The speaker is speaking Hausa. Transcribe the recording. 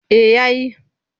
Eh ya yi.